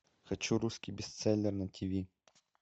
хочу русский бестселлер на тв